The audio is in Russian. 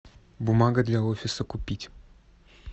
бумага для офиса купить